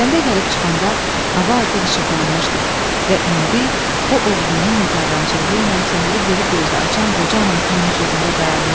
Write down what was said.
Kəndə gəlib çıxanda hava artıq işıqlanmışdı və indi o oğlunun nigarançılığı ilə səhəri diri gözlə açan qoca anasının hüzurunda dayanmışdı.